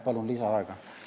Palun lisaaega!